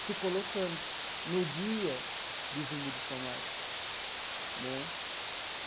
se colocando no dia de Zumbi dos Palmares né.